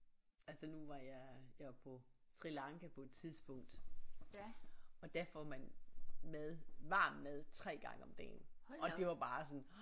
Altså nu var jeg jeg var på Sri Lanka på et tidspunkt og der får man mad varm mad 3 gange om dagen og det var bare sådan